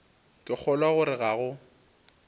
ke kgolwa gore ga go